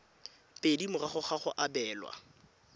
pedi morago ga go abelwa